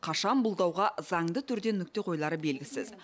қашан бұл дауға заңды түрде нүкте қойылары белгісіз